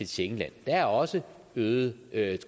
schengenland der er også øgede